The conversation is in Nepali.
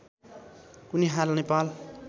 उनी हाल नेपाल